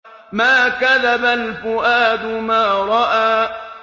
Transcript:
مَا كَذَبَ الْفُؤَادُ مَا رَأَىٰ